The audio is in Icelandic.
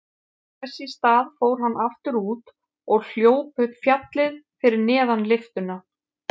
Þess í stað fór hann aftur út og hljóp upp fjallið fyrir neðan lyftuna.